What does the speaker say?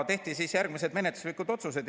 Tehti järgmised menetluslikud otsused.